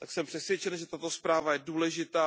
Jsem přesvědčen, že tato zpráva je důležitá.